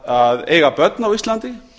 að eiga börn á íslandi